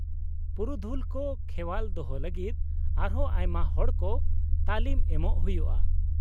-ᱯᱩᱨᱩᱫᱷᱩᱞ ᱠᱚ ᱠᱷᱮᱣᱟᱞ ᱫᱚᱦᱚ ᱞᱟᱹᱜᱤᱫ ᱟᱨᱦᱚᱸ ᱟᱭᱢᱟ ᱦᱚᱲ ᱠᱚ ᱛᱟᱹᱞᱤᱢ ᱮᱢᱚᱜ ᱦᱩᱭᱩᱜᱼᱟ ᱾